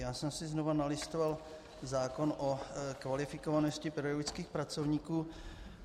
Já jsem si znova nalistoval zákon o kvalifikovanosti pedagogických pracovníků.